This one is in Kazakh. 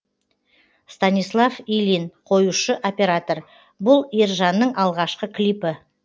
станислав ильин қоюшы оператор бұл ержанның алғашқы клипі